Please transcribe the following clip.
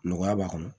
Nɔgɔya b'a kɔnɔ